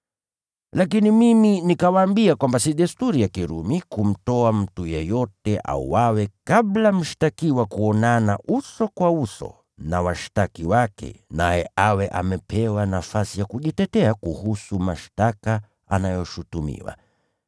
“Lakini mimi nikawaambia kwamba si desturi ya Kirumi kumtoa mtu yeyote auawe kabla mshtakiwa kuonana uso kwa uso na washtaki wake, naye awe amepewa nafasi ya kujitetea kuhusu mashtaka anayoshutumiwa.